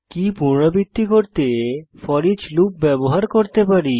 কী পুনরাবৃত্তি করতে for each loop ব্যবহার করতে পারি